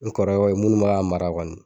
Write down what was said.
N kɔrɔw bɛ ye munnu bɛ ka mara kɔni.